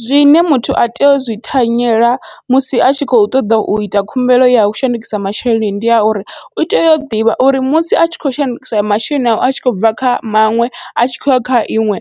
Zwine muthu a tea uzwi thanyela musi atshi kho ṱoḓa uita khumbelo yau shandukisa masheleni, ndi ya uri utea u ḓivha uri musi atshi khou shandukisa masheleni awe atshi khou bva kha maṅwe atshi khouya kha iṅwe